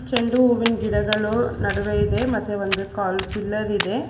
ಚಂಡು ಹೂವಿನ್ ಗಿಡಗಳು ನಡುವೆ ಇದೆ ಮತ್ತೆ ಒಂದು ಕಲ್ ಪಿಲ್ಲರ್ ಇದೆ.